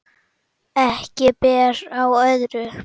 Ekki ber á öðru